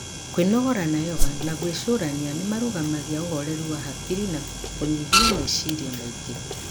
kwĩnogora na yoga na gwĩcurania nĩ marũgamagia ũhoreru wa hakiri na kũnyihia meciria maingĩ.